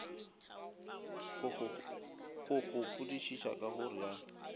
go gopodišiša ka go realo